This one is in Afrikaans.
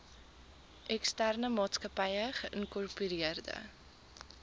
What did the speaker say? eksterne maatsakappy geïnkorpereerde